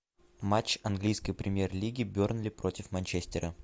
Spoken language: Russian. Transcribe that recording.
матч английской премьер лиги бернли против манчестера